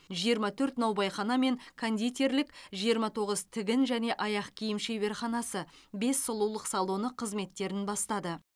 жиырма төрт наубайхана мен кондитерлік жиырма тоғыз тігін және аяқ киім шебарханасы бес сұлулық салоны қызметтерін бастады